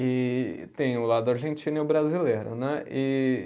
E tem o lado argentino e o brasileiro, né? E